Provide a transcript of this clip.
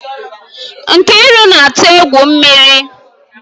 Nkiru na-atụ egwu mmiri